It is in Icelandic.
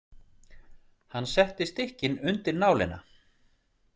Hann setti stykkin undir nálina.